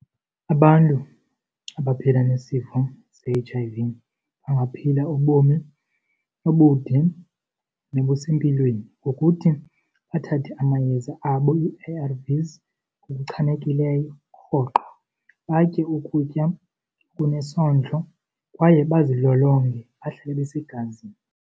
Abantu abaphila nesifo se-H_I_V bangaphila ubomi obude nobusempilweni ngokuthi bathathe amayeza abo ii-A_R_Vs ngokuchanekileyo rhoqo, batye ukutya okunesondlo kwaye bazilolonge bahlale besegazini.